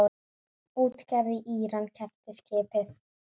Útgerð í Íran keypti skipið.